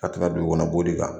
A tun ka dugu kɔnɔ b'o de kan.